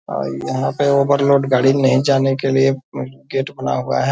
और यहाँ पे ओवरलोड गाड़ी नहीं जाने के लिए गेट बना हुआ है।